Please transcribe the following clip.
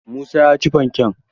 Musa ya ci fankek